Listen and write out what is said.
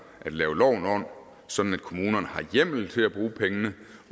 at lave loven om sådan at kommunerne har hjemmel til at bruge pengene